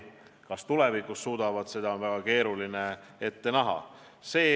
Kas tulevikus suudavad, seda on väga keeruline ette näha.